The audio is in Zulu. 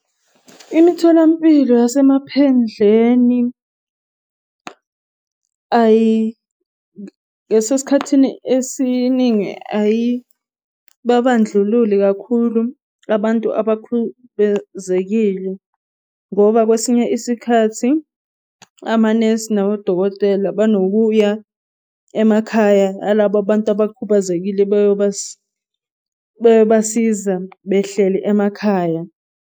Imitholampilo yasemaphendleni, esikhathini esiningi ayi babandlululi kakhulu abantu abakhubezekile. Ngoba kwesinye isikhathi amanesi nabodokotela banokuya emakhaya yalaba abantu abakhubazekile beyobasiza behleli emakhaya.